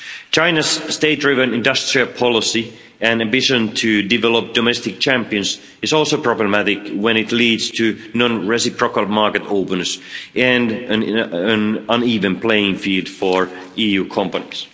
China's state driven industrial policy and ambition to develop domestic champions is also problematic when it leads to non reciprocal market openness and an uneven playing field for EU companies.